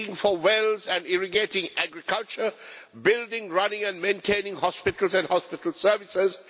digging for wells and irrigating agriculture building, running and maintaining hospitals and hospital services